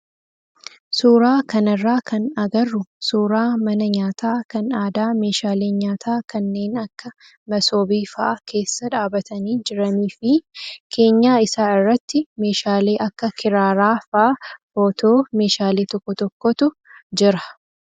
suuraa kanarraa kan agarru suuraa mana nyaataa kan aadaa meeshaaleen nyaataa kanneen akkas masoobii fa'aa keessa dhaabbatanii jiranii fi keenyaa isaa irratti meeshaalee akka kiraaraa fa'aa footoo ,meeshaalee tokko tokkootu jira.